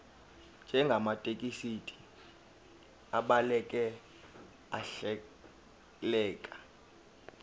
njengamathekisthi abhaleke ahleleka